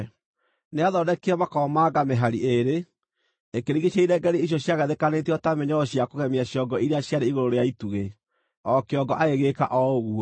Nĩathondekire makomamanga mĩhari ĩĩrĩ ĩkĩrigiicĩria irengeeri icio ciagathĩkanĩtio ta mĩnyororo cia kũgemia ciongo iria ciarĩ igũrũ rĩa itugĩ. O kĩongo agĩgĩĩka o ũguo.